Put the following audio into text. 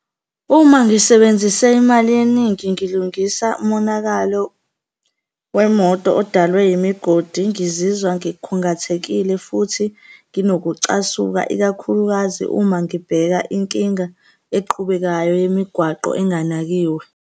Uma ngisebenzise imali eningi ngilungisa umonakalo wemoto odalwe yimigodi, ngizizwa ngikhungathekile futhi nginokucasuka, ikakhulukazi uma ngibheka inkinga eqhubekayo yemigwaqo enganakiwe.